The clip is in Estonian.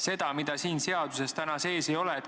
Midagi, mida siin seaduseelnõu sees ei ole?